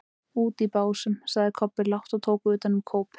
Úti í Básum, sagði Kobbi lágt og tók utan um kópinn.